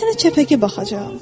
Mən sənə çəpəki baxacaam.